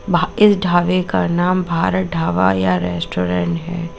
भा इस ढाबे का नाम भारत ढाबा या रेस्टोरेंट है।